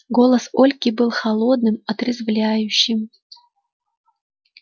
голос ольги был холодным отрезвляющим